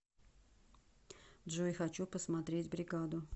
джой хочу посмотреть бригаду